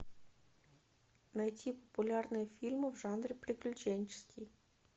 найти популярные фильмы в жанре приключенческий